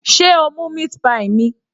Sé o mú meat pie mi?